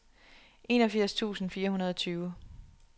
enogfirs tusind fire hundrede og tyve